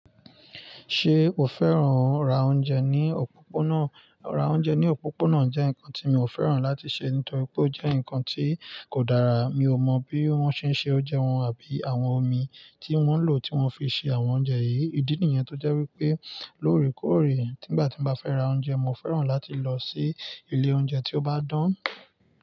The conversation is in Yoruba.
Ṣe o fẹ́ràn ra oúnjẹ ní òpópónà? Ra oúnjẹ ní òpópónà jẹ́ nǹkan tí mi ò fẹ́ràn láti ṣe nítorí pé ó jẹ́ nǹkan tí kò dára. Mi ò mọ bí wọ́n ṣe ń se oúnjẹ wọn àbí àwọn omi tí wọ́n lò tí wọ́n fi ṣe àwọn oúnjẹ yìí. Ìdí nìyẹn tó jẹ́ wípé lóòrèkóòrè, tígbà tí mo bá fẹ́ ra oúnjẹ, mo fẹ́ràn láti lọ sí ilé oúnjẹ tí ó bá dán.